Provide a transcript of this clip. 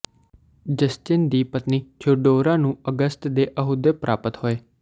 Justin ਦੀ ਪਤਨੀ Theodora ਨੂੰ ਅਗਸਤ ਦੇ ਅਹੁਦੇ ਪ੍ਰਾਪਤ ਹੋਏ